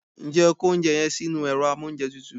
Njé o kó oúnjẹ yen sínú èro amóúnjetutù